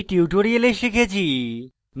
in tutorial শিখেছি